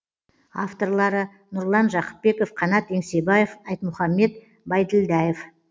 авторлары нұрлан жақыпбеков қанат еңсебаев айтмұхаммед байділдаев